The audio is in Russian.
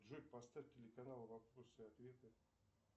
джой поставь телеканал вопросы и ответы